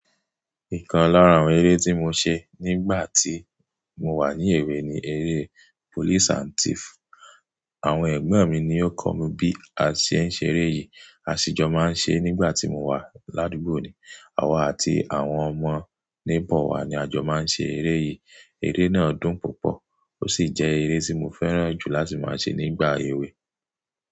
Ìkan lára àwọn eré tí mo ṣé nígbà tí mo wà ní èwe ni eré police and thief. Àwọn ègbọ́n mi ni ó kọ́ mi bí a ṣé ń ṣeré yìí. A ṣì jọ máa ń ṣé nígbà tí mo wà ládùúgbò ni. Àwa àti àwọn ọmọ neighbor wá ni a jọ máa ń ṣeré yìí. Eré náà dùn púpọ̀ ó sì jẹ́ eré tí mo fẹ́ràn jù láti máa ṣe nígbà èwe.